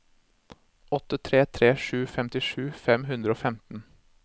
åtte tre tre sju femtisju fem hundre og femten